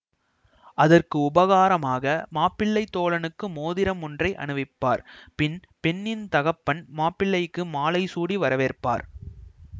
அதற்கு உபகாரமாக மாப்பிள்ளைத் தோழனுக்கு மோதிரம் ஒன்றை அணிவிப்பார் பின் பெண்ணின் தகப்பன் மாப்பிள்ளைக்கு மாலை சூடி வரவேற்பார்